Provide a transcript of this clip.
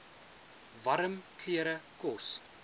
warm klere kos